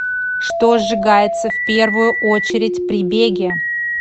что сжигается в первую очередь при беге